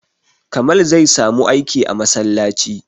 Kamal zai samu aiki a masallaci